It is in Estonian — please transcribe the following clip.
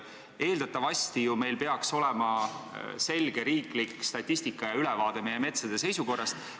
Eeldatavasti peaks meil ju olema selge riiklik statistika ja ülevaade meie metsade seisukorrast.